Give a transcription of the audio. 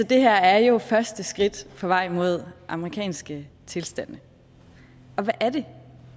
det her er jo første skridt på vej mod amerikanske tilstande og hvad er det